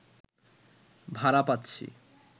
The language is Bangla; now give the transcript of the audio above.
ভাড়া পাচ্ছি